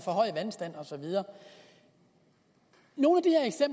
forhøjet vandstand og så videre nogle